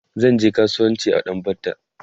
zanje kasuwanci a ɗan batta